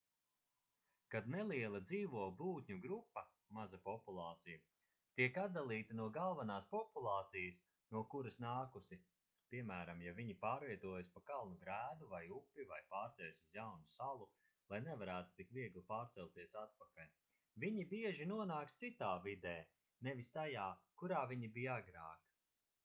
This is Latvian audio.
kad neliela dzīvo būtņu grupa maza populācija tiek atdalīta no galvenās populācijas no kuras nākusi piemēram ja viņi pārvietojas pa kalnu grēdu vai upi vai pārceļas uz jaunu salu lai nevarētu tik viegli pārcelties atpakaļ viņi bieži nonāks citā vidē nevis tajā kurā viņi bija agrāk